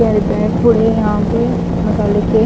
very bag पूड़े यहां पे मसाले के--